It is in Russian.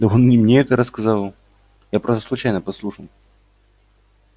да он и не мне это рассказывал я просто случайно подслушал